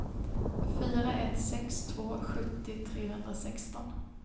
fyra ett sex två sjuttio trehundrasexton